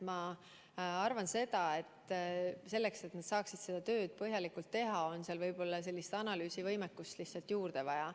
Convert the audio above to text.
Ma arvan, et selleks, et nad saaksid seda tööd põhjalikult teha, on seal võib-olla analüüsivõimekust lihtsalt juurde vaja.